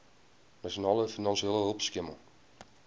nasionale finansiële hulpskema